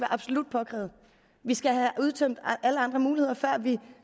absolut påkrævet vi skal have udtømt alle andre muligheder før vi